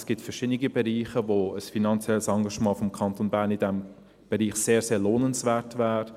Es gibt verschiedene Bereiche, in denen ein finanzielles Engagement des Kantons Bern in diesem Bereich sehr lohnenswert wäre.